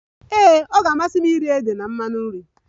Ee, ọ ga-amasị m iri ede na mmanụ nri